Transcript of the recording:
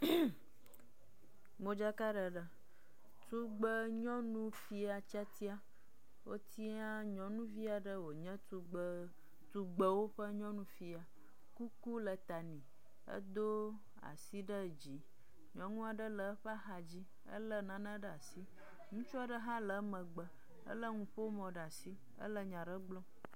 Modzakaɖeɖe. Tugbenyɔnufia tiatia. Wotia nyɔnuvi aɖe wònye tugbe tugbewo ƒe nyɔnu fia, kuku le ta nɛ. Edo asi ɖe dzi. Nyɔnu aɖe le eƒe axadzi, ele nane ɖe asi. Ŋutsu aɖe hã le emegbe, ele nuƒomɔ ɖe asi, ele nya aɖe gblɔm.